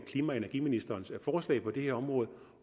klima og energiministerens forslag på det her område